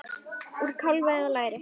Úr kálfa eða læri!